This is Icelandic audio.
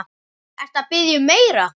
Ertu að biðja um meira.